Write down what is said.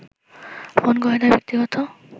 phone করে তার ব্যক্তিগত